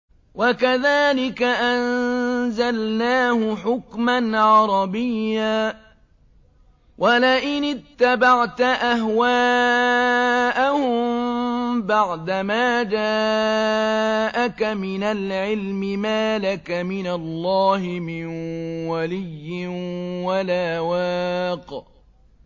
وَكَذَٰلِكَ أَنزَلْنَاهُ حُكْمًا عَرَبِيًّا ۚ وَلَئِنِ اتَّبَعْتَ أَهْوَاءَهُم بَعْدَمَا جَاءَكَ مِنَ الْعِلْمِ مَا لَكَ مِنَ اللَّهِ مِن وَلِيٍّ وَلَا وَاقٍ